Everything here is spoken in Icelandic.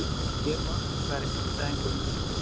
Hér loks fær einstæðingurinn uppreisn.